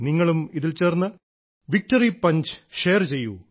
നിങ്ങളും ഇതിൽ ചേർന്ന് വിക്ടറി പഞ്ച് ഷെയർ ചെയ്യൂ